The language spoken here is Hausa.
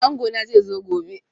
Angona zai zo gobe